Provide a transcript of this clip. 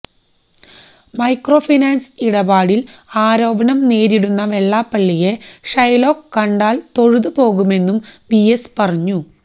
microfinance ഇടപാടില് ആരോപണം നേരിടുന്ന വെള്ളാപ്പള്ളിയെ ഷൈലോക്ക് കണ്ടാല് തൊഴുതു പോകുമെന്നും വിഎസ് പറഞ്ഞു